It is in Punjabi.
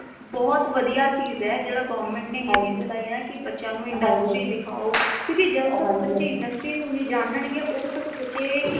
ਬਹੁਤ ਵਧੀਆ ਚੀਜ਼ ਹੈ ਜੇੜਾ government ਨੇ ਏ ਚੀਜ਼ ਚਲਾਈ ਹੈ ਕਿ ਬੱਚਿਆਂ ਨੂ industry ਦਿਖਾਓ ਕਿਉਂਕਿ ਜਦੋ ਤਕ ਬੱਚੇ industry ਨੂ ਨੀ ਜਾਨਣਗੇ ਓਦੋ ਤਕ ਬੱਚੇ